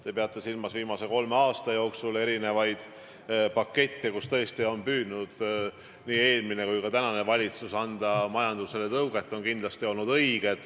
Te peate küllap silmas viimase kolme aasta jooksul kasutatud erinevaid pakette, millega tõesti on püüdnud nii eelmine kui ka praegune valitsus majandusele tõuget anda.